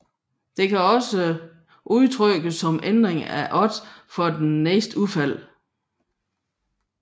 Dette kan også udtrykkes som ændring af odds for det næste udfald